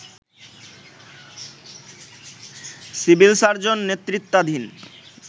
civil surgeon নেতৃত্বাধীন